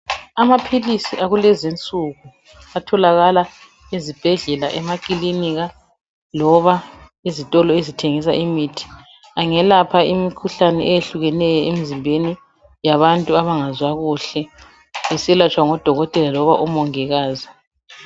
Amaphilisi akulenzi insuku atholakala ezibhedlela, emakilika loba ezitolo ezithengisa imithi. Angelapha imikhuhlane eyehlukeneyo emzimbeni yabantu abengezwa kuhle beselatshwa ngodokotela loba umongikazi.